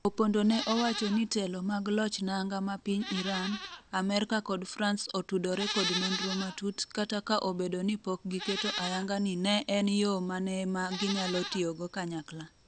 Opondo ne owacho ni telo mag loch nanga ma piny Iran, Amerka kod Frans otudore kod nonro matut kata ka obedo ni pok giketo ayanga ni en en yoo mane ma ginyalo tiyogo kanyakla